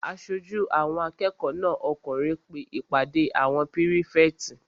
Aṣojú àwọn akẹ́kọ̀ọ́ náà okùnrin pe ìpàdé àwọn pírífẹ̀tì